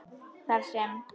Þar sem